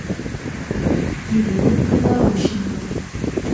елена криворощенко